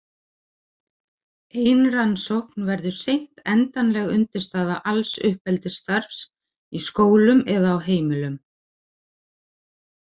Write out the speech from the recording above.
Ein rannsókn verður seint endanleg undirstaða alls uppeldisstarfs í skólum eða á heimilum.